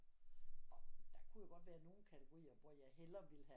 Der kunne jo godt være nogle kategorier hvor jeg heller ville have